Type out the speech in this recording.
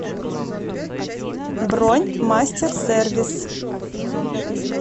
бронь мастер сервис